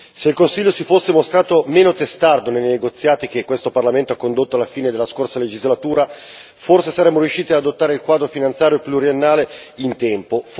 Se il Consiglio si fosse mostrato meno testardo nei negoziati che questo Parlamento ha condotto alla fine della scorsa legislatura, forse saremmo riusciti ad adottare il quadro finanziario pluriennale in tempo.